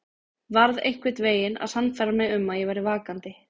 Varð einhvern veginn að sannfæra mig um að ég væri vakandi.